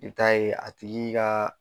I bi taa'a ye a tigi kaa